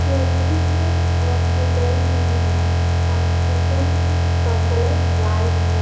यह दृश्य हॉस्पिटल की है हॉस्पिटल का कलर व्हाइट है।